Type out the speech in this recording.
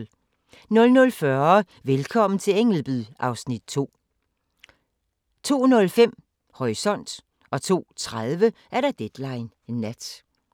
00:40: Velkommen til Ängelby (Afs. 2) 02:05: Horisont 02:30: Deadline Nat